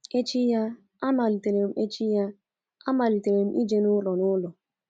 Echi ya, amalitere Echi ya, amalitere m ije n’ụlọ n'ụlọ.